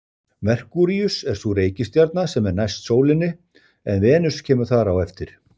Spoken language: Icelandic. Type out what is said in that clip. Merkúríus er sú reikistjarna sem er næst sólinni en Venus kemur þar á eftir.